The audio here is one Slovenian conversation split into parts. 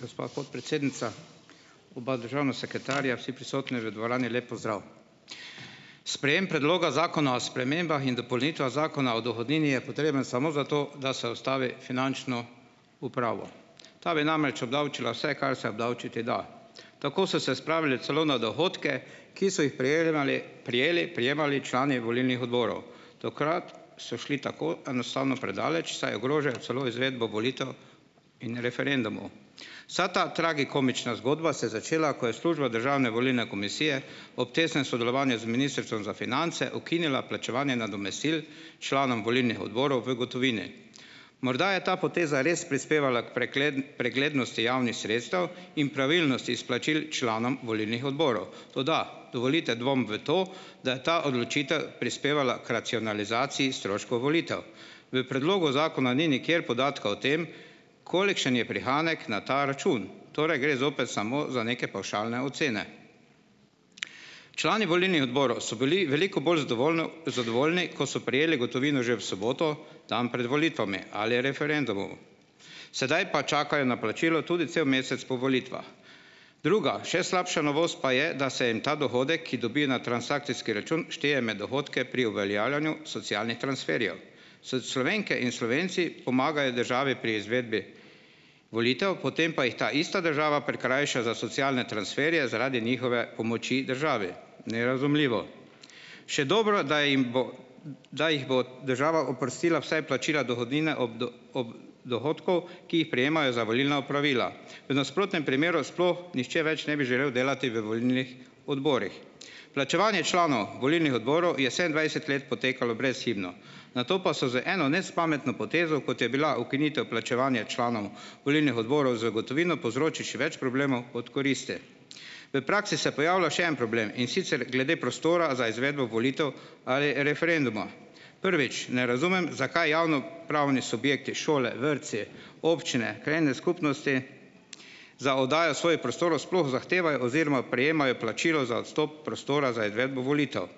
Gospa podpredsednica, oba državna sekretarja, vsi prisotni v dvorani, lep pozdrav! Sprejem Predloga zakona o spremembah in dopolnitvah Zakona o dohodnini je potreben samo zato, da se ustavi finančno upravo. Ta bi namreč obdavčila vse, kar se obdavčiti da. Tako so se spravili celo na dohodke, ki so jih prejelemali prijeli prejemali člani volilnih odborov. Tokrat so šli tako enostavno predaleč, saj ogrožajo celo izvedbo volitev in referendumov. Vsa ta tragikomična zgodba se je začela, ko je Služba državne volilne komisije ob tesnem sodelovanju z Ministrstvom za finance ukinila plačevanje nadomestil članom volilnih odborov v gotovini. Morda je ta poteza res prispevala k preglednosti javnih sredstev in pravilnosti izplačil članom volilnih odborov, toda dovolite dvom v to, da je ta odločitev prispevala k racionalizaciji stroškov volitev. V predlogu zakona ni nikjer podatka o tem kolikšen je prihranek na ta račun, torej gre zopet samo za neke pavšalne ocene. Člani volilnih odborov so bili veliko bolj zadovoljni, ko so prejeli gotovino že v soboto, tam pred volitvami ali referendumu. Sedaj pa čakajo na plačilo tudi cel mesec po volitvah. Druga, še slabša novost pa je, da se jim ta dohodek, ki dobi na transakcijski račun, šteje med dohodke pri uveljavljanju socialnih transferjev. Slovenke in Slovenci pomagajo državi pri izvedbi volitev, potem pa jih ta ista država prikrajša za socialne transferje zaradi njihove pomoči državi. Nerazumljivo. Še dobro, da jim bo da jih bo država oprostila vsaj plačila dohodnine ob ob dohodku, ki jih prejemajo za volilna opravila, v nasprotnem primeru sploh nihče več ne bi želel delati v volilnih odborih. Plačevanje članov volilnih odborov je sedemindvajset let potekalo brezhibno, nato pa so z eno nespametno potezo, kot je bila ukinitev plačevanja članov volilnih odborov z gotovino, povzroči še več problemov kot koristi. V praksi se pojavlja še en problem, in sicer glede prostora za izvedbo volitev ali referenduma. Prvič, ne razumem, zakaj javnopravni subjekti, šole, vrtci, občine, krajevne skupnosti za oddajo svojih prostorov sploh zahtevajo oziroma prejemajo plačilo za odstop prostora za izvedbo volitev.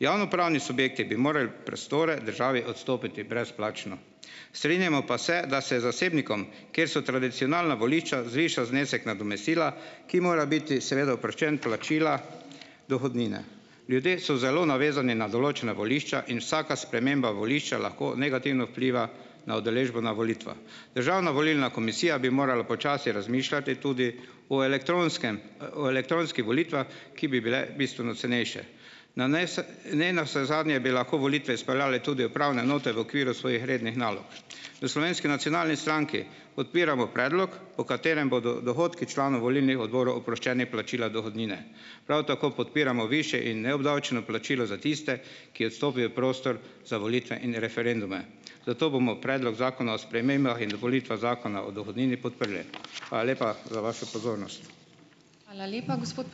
Javnopravni subjekti bi morali prostore državi odstopiti brezplačno. Strinjamo pa se, da se zasebnikom kjer so tradicionalna volišča, zviša znesek nadomestila, ki mora biti seveda oproščen plačila dohodnine. Ljudje so zelo navezani na določena volišča in vsaka sprememba volišča lahko negativno vpliva na udeležbo na volitvah. Državna volilna komisija bi morala počasi razmišljati tudi o elektronskem, o elektronskih volitvah, ki bi bile bistveno cenejše. Na ne navsezadnje, bi lahko volitve izpeljale tudi upravne enote v okviru svojih rednih nalog. V Slovenski nacionalni stranki podpiramo predlog, po katerem bodo dohodki članov volilnih odborov oproščeni plačila dohodnine. Prav tako podpiramo višje in neobdavčeno plačilo za tiste, ki odstopijo prostor za volitve in referendume, zato bomo Predlog zakona o spremembah in dopolnitvah Zakona o dohodnini podprli. Hvala lepa za vašo pozornost. Hvala lepa, gospod ...